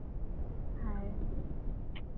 হায়